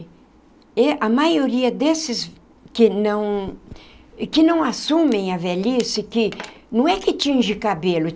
E a maioria desses que não que não assumem a velhice, que não é que tinge cabelo.